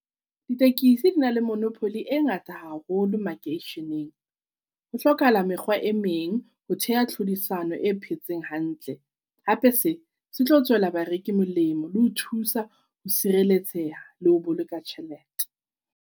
Ditekesi di na le monopoly e ngata haholo makeisheneng. Ho hlokahala mekgwa e meng ho theha tlhodisano e phetseng hantle. Hape se se tlo tswela bareki molemo le ho thusa ho sireletseha le ho boloka tjhelete.